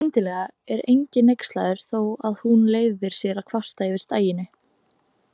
Skyndilega er enginn hneykslaður þó að hún leyfi sér að kvarta yfir staginu.